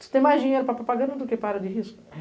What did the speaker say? Você tem mais dinheiro para propaganda do que para de risco.